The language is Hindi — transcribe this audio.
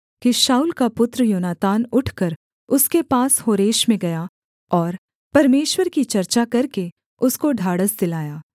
कि शाऊल का पुत्र योनातान उठकर उसके पास होरेश में गया और परमेश्वर की चर्चा करके उसको ढाढ़स दिलाया